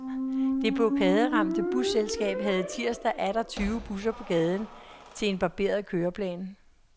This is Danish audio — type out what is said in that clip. Det blokaderamte busselskab havde tirsdag atter tyve busser på gaden til en barberet køreplan.